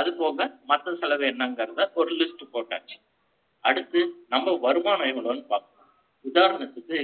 அது போக, மத்த செலவு என்னங்கிறதை, ஒரு list போட்டாச்சு. அடுத்து, நம்ம வருமானம், எவ்வளவுன்னு பார்ப்போம். உதாரணத்துக்கு,